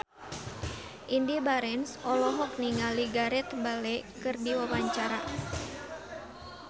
Indy Barens olohok ningali Gareth Bale keur diwawancara